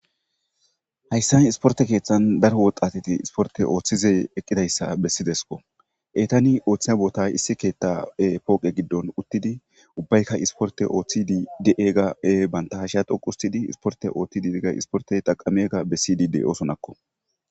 hayssa isporte keeththan daro woxatiti isporte ooththizey eqqidayssa bessidesko etani ooththiya boota issi keetta7e pooqe giddon uttidi ubbaykka isporte ooththi di7ega7ee bantahasha doquustidi isporte ooththi diega isportey taqameega bessi dide7oosonakko